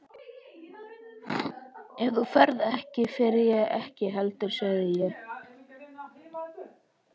Ef þú ferð ekki, fer ég ekki heldur sagði ég.